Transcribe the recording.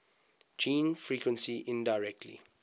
gene frequency indirectly